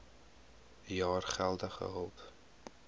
jaar geldelike hulp